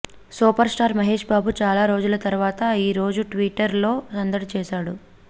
super star Mahesh Babu చాలా రోజుల తర్వాత ఈ రోజు ట్విట్టర్ లో సందడి చేసాడు